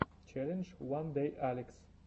челлендж уандэйалекс